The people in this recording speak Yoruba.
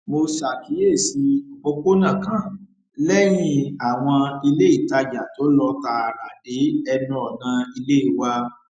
mo ṣàkíyèsí òpópónà kan léyìn àwọn iléìtajà tó lọ tààrà dé ẹnu ọnà ilé wa